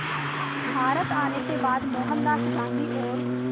भारत आने के बाद मोहनदास गांधी और